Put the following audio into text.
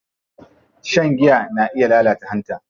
Shan giya na iya lalata hanta.